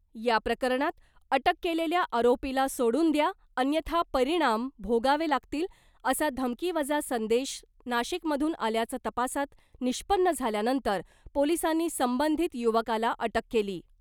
या प्रकरणात अटक केलेल्या आरोपीला सोडुन द्या अन्यथा परिणाम भोगावे लागतील असा धमकीवजा संदेश नाशिकमधून आल्याचं तपासात निष्पन्न झाल्यानंतर पोलिसांनी संबंधित युवकाला अटक केली .